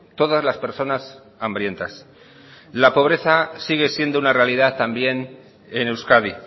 todas las personas hambrientas la pobreza sigue siendo una realidad también en euskadi